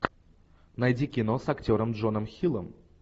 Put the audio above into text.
найди кино с актером джоном хиллом